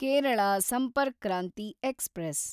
Kerala Sampark Kranti express